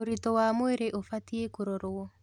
ũritu wa mwĩrĩ ubatiĩ kũrorwo